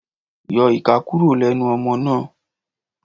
Yọ ìka kúrò lẹ́nu ọmọ náà.